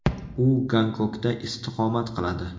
U Gonkongda istiqomat qiladi.